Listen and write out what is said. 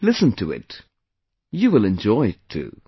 Listen to it, you will enjoy it too